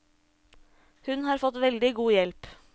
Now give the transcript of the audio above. Hun har fått veldig god hjelp.